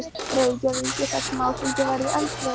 Reykjavíkur þar sem áfengi var í öndvegi.